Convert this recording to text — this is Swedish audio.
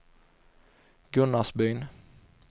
Gunnarsbyn